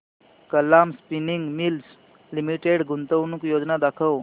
Kalam spinning mills limited गुंतवणूक योजना दाखव